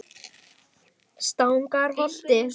Stangarholti